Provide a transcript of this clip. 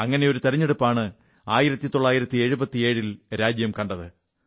അങ്ങനെയൊരു തിരഞ്ഞെടുപ്പാണ് 1977ൽ രാജ്യം കണ്ടത്